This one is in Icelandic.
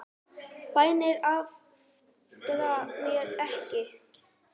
Bænir aftra mér ekki.